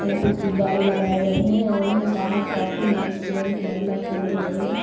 यहां पे गुब्बारे लगाए गए है और यहां बाहर काफी लोग जेंट्स महिला खड़े हुए है।